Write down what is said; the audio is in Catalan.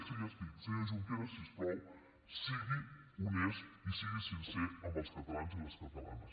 sí ja estic senyor junqueras si us plau sigui honest i sigui sincer amb els catalans i les catalanes